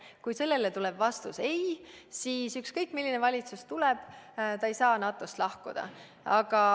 Kui sellele tuleb vastuseks ei, siis ükskõik milline valitsus tuleb, ta ei saa NATO-st lahkuda.